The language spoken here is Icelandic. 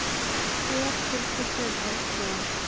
Hver tilkynnti um eldsvoðann?